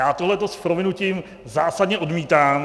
Já tohle s prominutím zásadně odmítám.